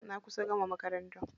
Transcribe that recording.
Na kusa gama makaranta.